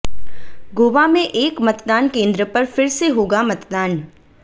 गोवा में एक मतदान केंद्र पर फिर से होगा मतदान